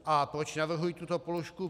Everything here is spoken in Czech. A proč navrhuji tuto položku?